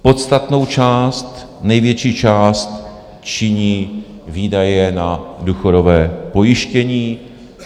Podstatnou část, největší část činí výdaje na důchodové pojištění.